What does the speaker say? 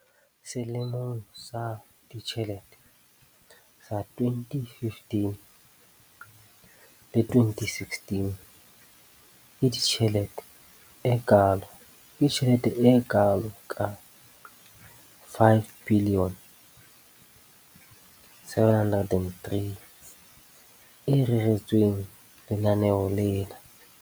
Selemong sa ditjhelete sa 2015-16, ke tjhelete e kalo ka R5 703 bilione e reretsweng lenaneo lena.